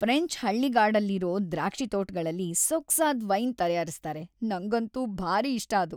French ಹಳ್ಳಿಗಾಡಲ್ಲಿರೋ ದ್ರಾಕ್ಷಿತೋಟ್ಗಳಲ್ಲಿ ಸೊಗ್ಸಾದ್ ವೈನ್‌ ತಯಾರಿಸ್ತಾರೆ, ನಂಗಂತೂ ಭಾರೀ ಇಷ್ಟ ಅದು.